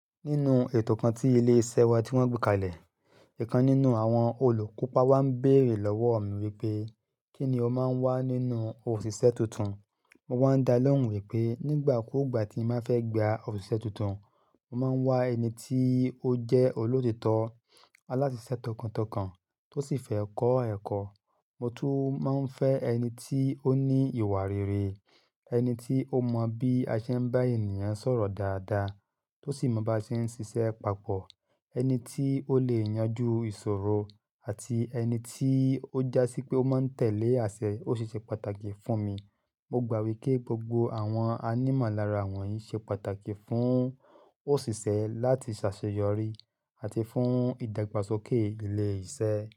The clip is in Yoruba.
Nínú ètò kan tí ilé iṣẹ́ wa tí wọ́n gbé kalẹ̀, ìkan nínú àwọn olùkópa wá ń bèrè lọ́wọ́ mi wípé, "Kí ni o máa ń wá nínú òṣìṣẹ́ tuntun?" Mo wáa ń dá lóhùn wípé nígbà kúgbà tí mo fẹ́ gba òṣìṣẹ́ tuntun, mo máa ń wá ẹni tí ó jẹ́ olóòtítọ́, alásisẹ̀ tọkàntọkàn tó sì fẹ́ kọ́ ẹ̀kọ́. Mo tún máa ń fẹ́ ẹni tí ó ní ìwà rere, ẹni tí ó mọ bí aṣẹ ń bá ènìyàn sọ̀rọ̀ dáadáa tó sì mọ bá ṣe ń ṣiṣẹ́ papọ̀. Ẹni tí ó lè yanjú ìṣòro àti ẹni tí ó jásí pé ó máa ń tẹ̀lé àṣẹ ó ṣe ṣe pàtàkì fún mi. Mo gbà wípé gbogbo àwọn anímàlára wọ̀nyí ṣe pàtàkì fún òṣìṣẹ́ láti ṣaṣeyọrí àti fún ìdàgbàsókè ilé iṣẹ́.